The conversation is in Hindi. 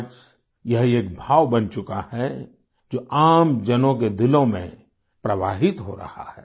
आज यह एक भाव बन चुका है जो आम जनों के दिलों में प्रवाहित हो रहा है